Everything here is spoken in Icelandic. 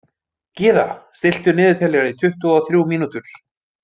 Gyða, stilltu niðurteljara í tuttugu og þrjú mínútur.